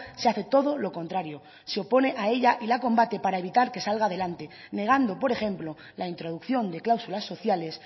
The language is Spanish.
se hace todo lo contrario se opone a ella y la combate para evitar que salga adelante negando por ejemplo la introducción de cláusulas sociales